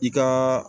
I ka